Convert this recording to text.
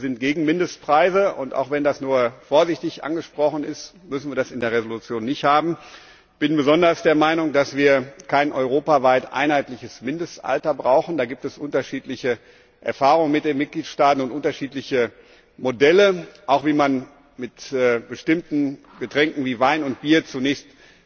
Wir sind gegen Mindestpreise, und auch wenn das nur vorsichtig angesprochen ist, müssen wir das in der Entschließung nicht haben. Ich bin besonders der Meinung, dass wir kein europaweit einheitliches Mindestalter brauchen. Damit gibt es unterschiedliche Erfahrungen in den Mitgliedstaaten und unterschiedliche Modelle, auch wie man mit bestimmten Getränken wie Wein und Bier zunächst